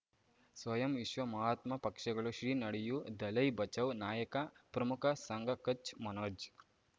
ಸ್ವಯಂ ವಿಶ್ವ ಮಹಾತ್ಮ ಪಕ್ಷಗಳು ಶ್ರೀ ನಡೆಯೂ ದಲೈ ಬಚೌ ನಾಯಕ ಪ್ರಮುಖ ಸಂಘ ಕಚ್ ಮನೋಜ್